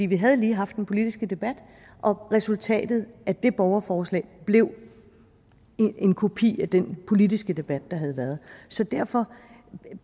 vi havde haft den politiske debat resultatet af det borgerforslag blev en kopi af den politiske debat der havde været så derfor